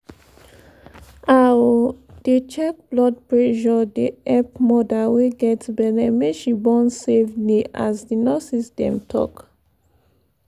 ah o dey check blood pressure dey epp moda wey get belle make she born safely as the nurses dem talk